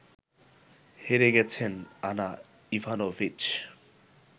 হেরে গেছেন Ana Ivanovic